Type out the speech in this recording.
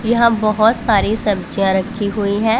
यहां बहोत सारी सब्जियां रखी हुई हैं।